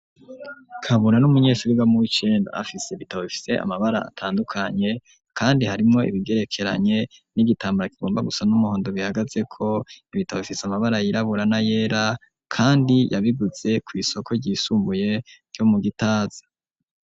Kabura n'umunyeshuri yiga mu wicenda afise bitaba bifise amabara atandukanye kandi harimo ibigerekeranye n'igitambara kigomba gusa n'umuhondo bihagaze ko ibitaba bifise amabara yiraburana yera kandi yabigutse ku isoko ryisumbuye ryo mu gitaza.